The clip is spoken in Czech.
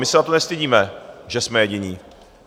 My se za to nestydíme, že jsme jediní.